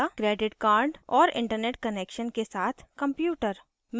और internet connection के साथ कंप्यूटर